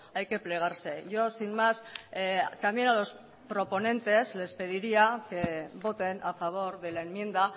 hay que plegarse yo sin más también a los proponentes les pediría que voten a favor de la enmienda